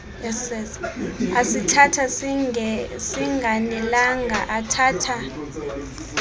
asithatha singanelanga athatha